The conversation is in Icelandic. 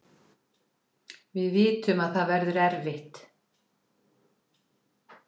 Við vitum að það verður erfitt